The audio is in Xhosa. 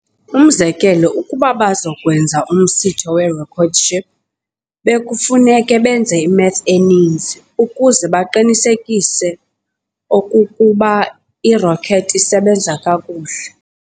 Umzekelo, ukuba bazakwenza umsitho werocket ship, bekufuneka benze i-math eninzi ukuze baqiniseke okokuba i-rocket isebenza kakuhle.